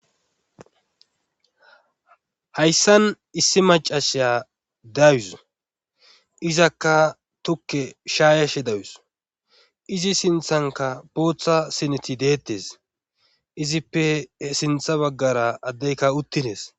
Hayssan issi macashya dayus izakka tukke shaayashe dayus izi sinthanka bootha sineti deettes izippe sintha baggara addeyka uttinees